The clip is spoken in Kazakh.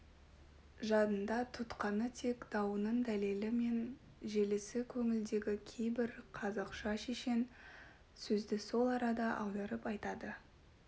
жадында тұтқаны тек дауының дәлелі мен желісі көңілдегі кейбір қазақша шешен сөзді сол арада аударып айтады